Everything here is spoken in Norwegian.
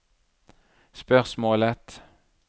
spørsmålet